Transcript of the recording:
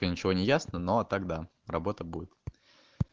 ничего не ясно но тогда работа будет